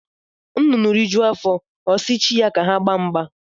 Nnụnụ rijuo afọ ọsi chi ya ka ha gbaa mgba